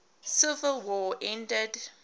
civil war ended